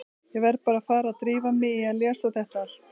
Ég verð bara að fara að drífa mig í að lesa þetta allt.